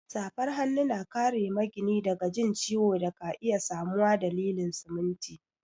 Safar hanu na kare magini daga jin ciwo da ka iya samuwa dalilin siminti.